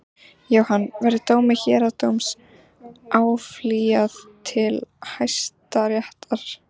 Jóhann: Verður dómi héraðsdóms áfrýjað til Hæstaréttar?